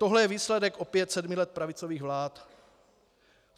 Tohle je výsledek opět sedmi let pravicových vlád.